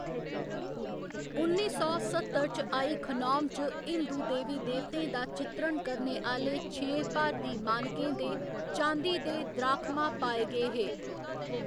उन्नी सौ सत्तर च आई खनौम च हिंदू देवी देवतें दा चित्रण करने आह्‌‌‌ले छें भारती मानकें दे चांदी दे द्राखमा पाए गे हे।